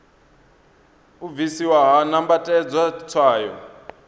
u bvisiwa ha nambatedzwa tswayo